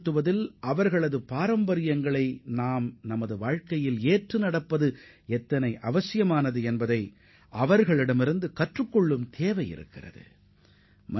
பழங்குடியினரின் பாரம்பரியத்தை நமது வாழ்க்கையில் எவ்வாறு பின்பற்றி நீடித்த வளர்ச்சியை அடைவது மற்றும் அதுபோன்ற பாரம்பரியங்களிலிருந்து எதை அறிந்து கொள்ளலாம் என்று அவர் குறிப்பிட்டுள்ளார்